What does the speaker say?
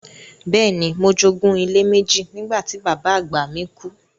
Bẹ́ẹ̀ni, mo jogún ilé méjì nígbà tí bàbá àgbà mi kú.